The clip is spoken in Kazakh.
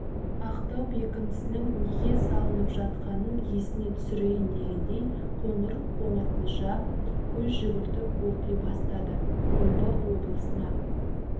ақтау бекінісінің неге салынып жатқанын есіне түсірейін дегендей қоңыр- қоңырқұлжа көз жүгіртіп оқи бастады омбы облысына